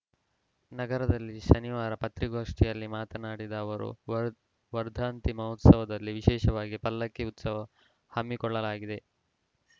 ನಗರದಲ್ಲಿ ಶನಿವಾರ ಪತ್ರಿಕಾಗೋಷ್ಠಿಯಲ್ಲಿ ಮಾತನಾಡಿದ ಅವರು ವರ್ಧ ವರ್ಧಂತಿ ಮಹೋತ್ಸವದಲ್ಲಿ ವಿಶೇಷವಾಗಿ ಪಲ್ಲಕ್ಕಿ ಉತ್ಸವ ಹಮ್ಮಿಕೊಳ್ಳಲಾಗಿದೆ